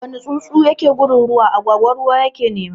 Wuni tsuntsu yake gudun ruwa, agwagwa ruwa ta ke nema